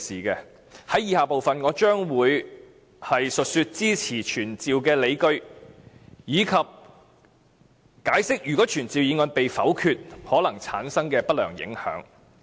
在以下部分，我將會述說支持傳召的理據，以及解釋如果傳召議案被否決可能產生的不良影響。